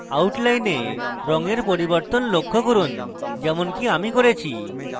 outline রঙের পরিবর্তন লক্ষ্য করুন যেমনকি আমি করেছি